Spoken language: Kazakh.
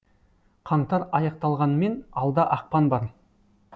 қаңтар аяқталғанмен алда ақпан бар